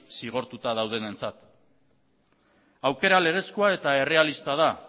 zigortuta daudenentzat aukera legezkoa eta errealista da